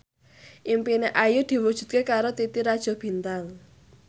impine Ayu diwujudke karo Titi Rajo Bintang